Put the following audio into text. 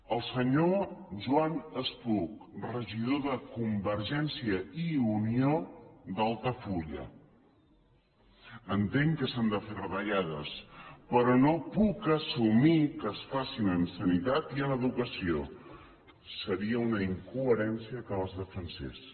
el senyor joan spuch regidor de convergència i unió d’altafulla entenc que s’han de fer retallades però no puc assumir que es facin en sanitat i en educació seria una incoherència que les defensés